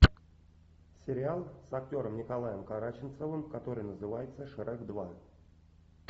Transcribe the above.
сериал с актером николаем караченцовым который называется шрек два